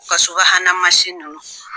U ka subahana ninnu